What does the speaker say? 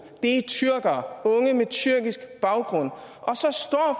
er tyrkere unge med tyrkisk baggrund